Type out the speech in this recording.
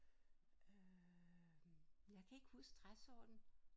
Øh jeg kan ikke huske træsorten